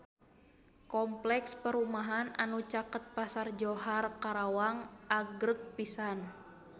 Kompleks perumahan anu caket Pasar Johar Karawang agreng pisan